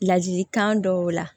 Ladikan dɔw la